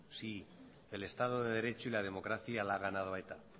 si el estado de derecho y la democracia le ha ganado a eta